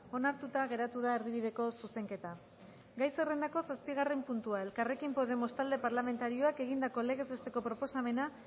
onartuta geratu da erdibideko zuzenketa gai zerrendako zazpigarren puntua elkarrekin podemos talde parlamentarioak egindako legez besteko proposamena